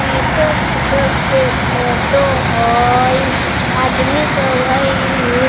पीछे किछु के फोटो हई आदमी सब हई इ।